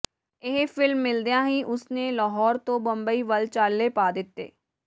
ਇਹ ਫ਼ਿਲਮ ਮਿਲਦਿਆਂ ਹੀ ਉਸ ਨੇ ਲਾਹੌਰ ਤੋਂ ਬੰਬਈ ਵੱਲ ਚਾਲੇ ਪਾ ਦਿੱਤੇ